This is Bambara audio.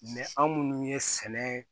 anw minnu ye sɛnɛ